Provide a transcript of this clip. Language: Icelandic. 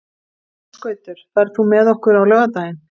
Ásgautur, ferð þú með okkur á laugardaginn?